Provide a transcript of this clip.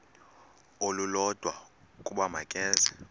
olulodwa ukuba makeze